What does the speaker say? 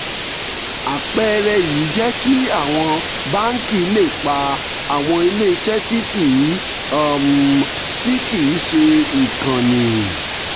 àpẹẹrẹ yìí jẹ́ kí àwọn báńkì lè pa àwọn ilé iṣẹ́ tí kì um í um ṣe ìkànnì